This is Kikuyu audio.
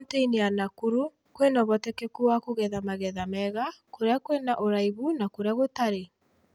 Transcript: Kauntĩ-ĩnĩ ya Nakuru, kwĩna ũhotekeku wa kũgetha magetha mega kũria kwina ũraihu na kũria gũtare.